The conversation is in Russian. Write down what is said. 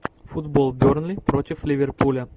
футбол бернли против ливерпуля